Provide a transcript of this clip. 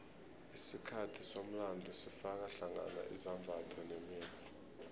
isikhathi somlando sifaka hlangana izimbatho nemikghwa